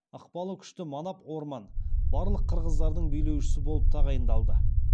ықпалы күшті манап орман барлық қырғыздардың билеушісі болып тағайындалды